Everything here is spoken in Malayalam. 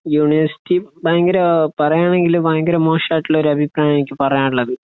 യൂണിവേഴ്സിറ്റി ഭയങ്കര പറയാണെങ്കില് ഭയങ്കര മോശായിട്ട് ഉള്ള ഒരു അഭിപ്രായം ആണ് എനിക്ക് പറയാൻ ഉള്ളത്